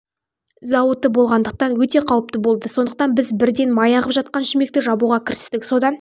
зауыты болғандықтан өте қауіпті болды сондықтан біз бірден май ағып жатқан шүмекті жабуға кірістік содан